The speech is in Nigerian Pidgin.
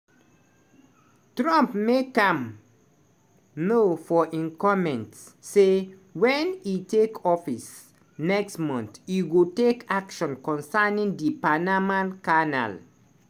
trump make am know for im comment say wen e take office next month e go take action concerning di panama canal.